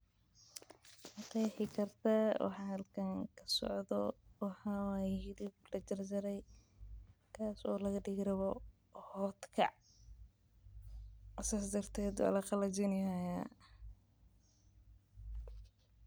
Maqexi kartaa waxa halkan kasocdo maxa waye hilib laga digi rabo otkac sas daraded waa laqalajini.